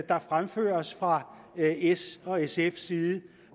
der fremføres fra s og sfs side